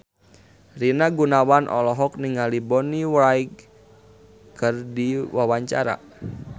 Rina Gunawan olohok ningali Bonnie Wright keur diwawancara